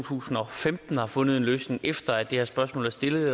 tusind og femten har fundet en løsning efter at det her spørgsmål er stillet